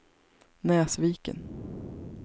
Näsviken